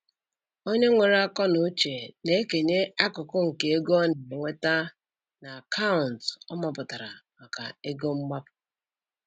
Onye nwere akọnuche na-ekenye akụkụ nke ego ọ na-enweta na akaụntụ ọ mapụtara maka "ego mgbapu".